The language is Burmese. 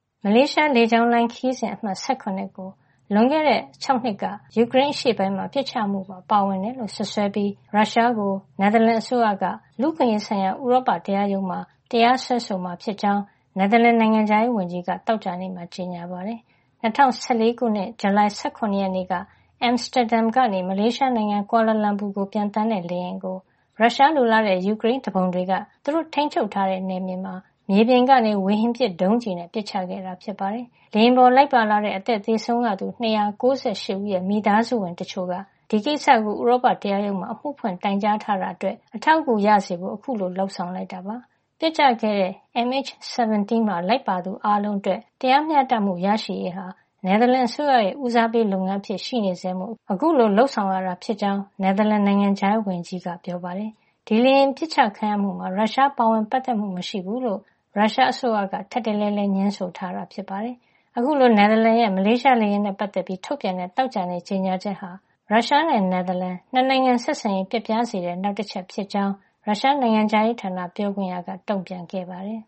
မလေးရှားလေကြောင်းလိုင်း ခရီးစဉ် အမှတ် ၁၇ MH17 ကို လွန်ခဲ့တဲ့ ၆ နှစ်က ယူကရိန်းအရှေ့ပိုင်းမှာ ပစ်ချမှုမှာ ပါဝင်တယ်လို့ စွပ်စွဲပြီး ရုရှားကို နယ်သာလန် အစိုးရက လူ့အခွင့်ရေးဆိုင်ရာ ဥရောပတရားရုံးမှာ တရားစွဲမယ်လို့ နယ်သာလန် နိုင်ငံခြားရေးဝန်ကြီးက သောကြာနေ့မှာ ကြေညာပါတယ်။ ၂၀၁၄ ခုနှစ် ဇူလိုင်လ ၁၇ ရက်နေ့က Amsterdam ကနေ မလေးရှားနိုင်ငံ ကွာလာလမ်ပူကို ပျံသန်းတဲ့ လေယာဉ်ကို ရုရှားလိုလားတဲ့ ယူကရိန်းသူပုန်တွေက သူတို့ ထိန်းချုပ်ထားတဲ့ နယ်မြေမှာ မြေပြင်ကနေ ဝေဟင်ပစ်ဒုံးကျည်နဲ့ ပစ်ချခဲ့တာဖြစ်ပါတယ်။ လေယာဉ်ပေါ်လိုက်ပါလာတဲ့ အသက်သေဆုံးခဲ့ရသူ ၂၉၈ ဦးရဲ့ မိသားစုဝင် တချို့က ဒီကိစ္စကို ဥရောပတရားရုံးမှာ အမှုဖွင့် တိုင်ကြားထားတာ အတွက် အထောက် အကူ ရစေဖို့ အခုလို လုပ်ဆောင်လိုက်တာပါ။ ပျက်ကျခဲ့တဲ့ MH17 မှာ လိုက်ပါခဲ့သူအားလုံး အတွက် တရားမ ျှတမှု ရရှိရေးဟာ နယ်သာလန်အစိုးရရဲ့ ဦးစားပေးလုပ်ငန်း အဖြစ် ရှိနေဆဲမို့ အခုလို လုပ်ဆောင်ရတာ ဖြစ်ကြောင်း နယ်သာလန် နိုင်ငံခြားရေးဝန်ကြီး Stef Blok က ပြောပါတယ်။ ဒီလေယာဉ် ပစ်အချခံရမှုမှာ ရုရှားပါဝင်ပတ်သက်မှု မရှိဘူးလို့ ရုရှား အစိုးရက ထပ်တလဲလဲ ငြင်းဆိုထာတာ ဖြစ်ပါတယ်။ အခုလို နယ်သာလန်ရဲ့ မလေးရှားလေယာဉ်နဲ့ ပတ်သက်ပြီး ထုတ်ပြန်တဲ့ သောကြာနေ့ ကြေညာချက်ဟာ ရုရှားနဲ့ နယ်သာလန် ၂ နိုင်ငံ ဆက်ဆံရေး ပျက်ပြားစေတဲ့ အချက် ေ နာက်တချက် ဖြစ်ကြောင်း ရုရှား နိုင်ငံခြားရေးဌာန ပြောခွင့်ရ Maria Zakharova က တုံ့ပြန်ခဲ့ပါတယ်။